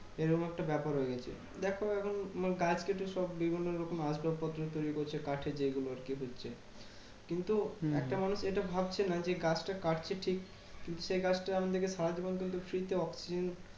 এইরকম একটা ব্যাপার হয়ে গেছে। দেখো এখন গাছ কেটে সব বিভিন্ন রকম আসবাবপত্র তৈরী করছে কাঠের যেগুলো আরকি হচ্ছে। কিন্তু একটা মানুষ এটা ভাবছে না যে, গাছটা কাটছে ঠিক। কিন্তু সেই গাছটা আমাদেরকে সারাজীবন কিন্তু free তে oxygen